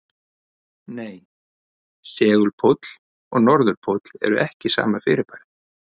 Nei, segulpóll og norðurpóll eru ekki sama fyrirbærið.